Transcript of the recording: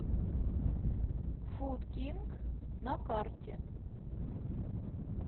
фуд кинг на карте